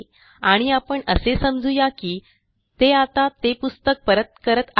आणि आपण असे समजू या की ते आता ते पुस्तक परत करत आहेत